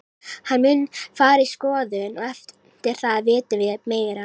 Hann mun fara í skoðun og eftir það vitum við meira.